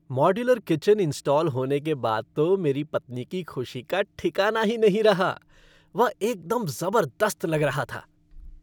Modular kitchen install होने के बाद तो मेरी पत्नी की खुशी का ठिकाना ही नहीं रहा। वह एकदम ज़बरदस्त लग रहा था!